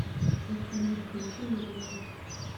афина включи лиглей